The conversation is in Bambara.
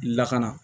Lakana